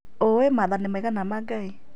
ũũĩ maathani maigana ma Ngai